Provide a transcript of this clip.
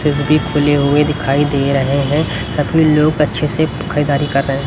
fridge भी खुले हुए दिखाई दे रहे हैं सभी लोग अच्छे से खरीदारी कर र--